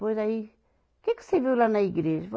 Pois aí, o que que você viu lá na igreja?